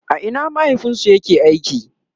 a Ina mahaifinsu ya ke aiki?